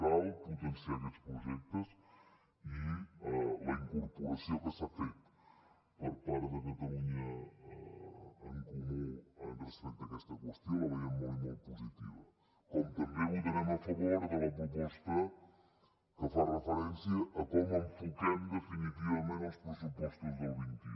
cal potenciar aquests projectes i la incorporació que s’ha fet per part de catalunya en comú respecte a aquesta qüestió la veiem molt i molt positiva com també votarem a favor de la proposta que fa referència a com enfoquem definitivament els pressupostos del vint un